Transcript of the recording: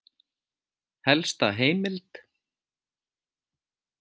Helsta heimild: